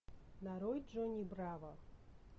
нарой джонни браво